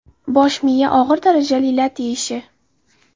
Bosh miya og‘ir darajali lat yeyishi.